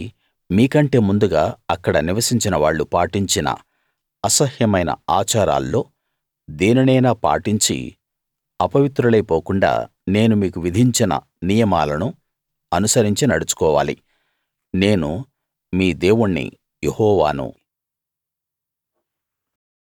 కాబట్టి మీకంటే ముందుగా అక్కడ నివసించిన వాళ్ళు పాటించిన అసహ్యమైన ఆచారాల్లో దేనినైనా పాటించి అపవిత్రులై పోకుండా నేను మీకు విధించిన నియమాలను అనుసరించి నడుచుకోవాలి నేను మీ దేవుణ్ణి యెహోవాను